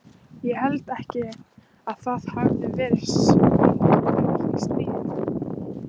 Ég held ekki að það hafi verið smyglarar í stríðinu.